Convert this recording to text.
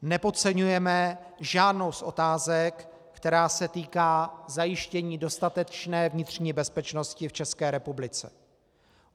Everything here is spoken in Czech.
Nepodceňujeme žádnou z otázek, která se týká zajištění dostatečné vnitřní bezpečnosti v České republice.